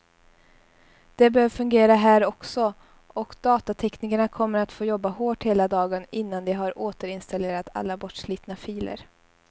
Det bör fungera här också, och datateknikerna kommer att få jobba hårt hela dagen innan de har återinstallerat alla bortslitna filer.